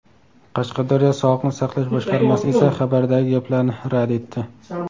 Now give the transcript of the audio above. Qashqadaryo sog‘liqni saqlash boshqarmasi esa xabardagi gaplarni rad etdi .